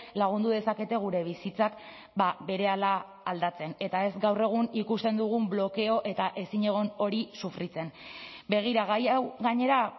lagundu dezakete gure bizitzak berehala aldatzen eta ez gaur egun ikusten dugun blokeo eta ezinegon hori sufritzen begira gai hau gainera